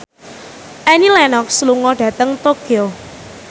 Annie Lenox lunga dhateng Tokyo